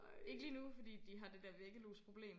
Ikke lige nu fordi de har det der væggelusproblem